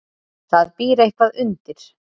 Það býr eitthvað undir.